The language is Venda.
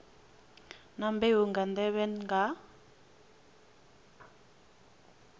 na mbeu nga nḓevhe nga